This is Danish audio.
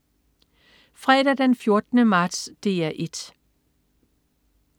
Fredag den 14. marts - DR 1: